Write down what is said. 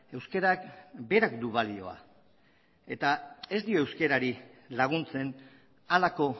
euskarak berak du balioa eta ez dio euskarari laguntzen halako